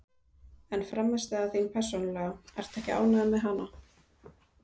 En frammistaða þín persónulega, ertu ekki ánægður með hana?